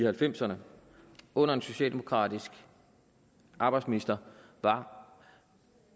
halvfemserne under en socialdemokratisk arbejdsminister var